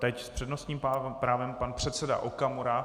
Teď s přednostním právem pan předseda Okamura.